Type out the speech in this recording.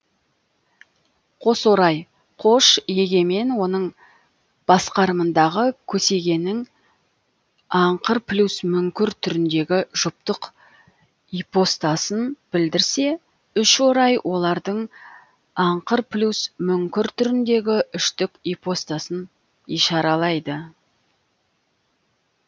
қосорай қош еге мен оның басқарымындағы көсегенің аңқырплюс мүңкір түріндегі жұптық ипостасын білдірсе үшорай олардың аңқырплюс мүңкір түріндегі үштік ипостасын ишаралайды